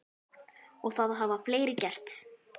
Og það hafa fleiri gert.